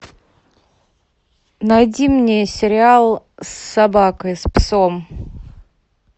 найди мне сериал с собакой с псом